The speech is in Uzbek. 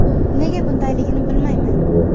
Nega bundayligini bilmayman.